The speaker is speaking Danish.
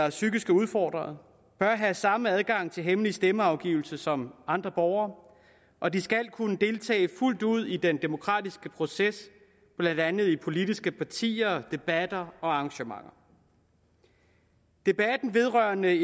og psykisk udfordrede bør have samme adgang til hemmelig stemmeafgivelse som andre borgere og de skal kunne deltage fuldt ud i den demokratiske proces blandt andet i politiske partier debatter og arrangementer debatten vedrørende